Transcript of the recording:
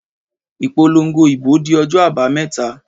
Ìpolongo ìbò di ọjọ́ àbàméta.